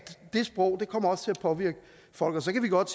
det sprog kommer til at påvirke folk så kan vi godt